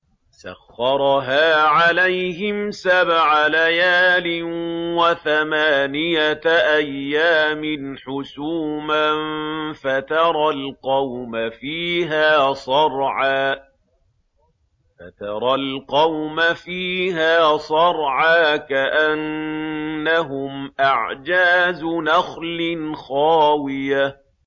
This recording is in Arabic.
سَخَّرَهَا عَلَيْهِمْ سَبْعَ لَيَالٍ وَثَمَانِيَةَ أَيَّامٍ حُسُومًا فَتَرَى الْقَوْمَ فِيهَا صَرْعَىٰ كَأَنَّهُمْ أَعْجَازُ نَخْلٍ خَاوِيَةٍ